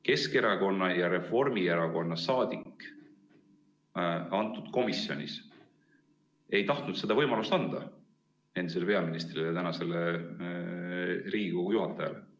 Keskerakonna ja Reformierakonna saadik aga komisjonis ei tahtnud seda võimalust anda endisele peaministrile, praegusele Riigikogu esimehele.